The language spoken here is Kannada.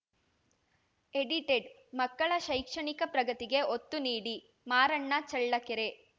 ಎಡಿಟೆಡ್‌ ಮಕ್ಕಳ ಶೈಕ್ಷಣಿಕ ಪ್ರಗತಿಗೆ ಒತ್ತು ನೀಡಿ ಮಾರಣ್ಣ ಚೆಳ್ಳಕೆರೆ